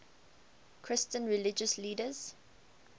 christian religious leaders